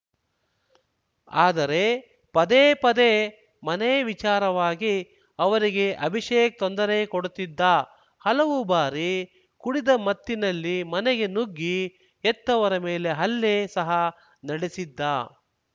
ಆದರೆ ಪದೇ ಪದೇ ಮನೆ ವಿಚಾರವಾಗಿ ಅವರಿಗೆ ಅಭಿಷೇಕ್‌ ತೊಂದರೆ ಕೊಡುತ್ತಿದ್ದ ಹಲವು ಬಾರಿ ಕುಡಿದ ಮತ್ತಿನಲ್ಲಿ ಮನೆಗೆ ನುಗ್ಗಿ ಹೆತ್ತವರ ಮೇಲೆ ಹಲ್ಲೆ ಸಹ ನಡೆಸಿದ್ದ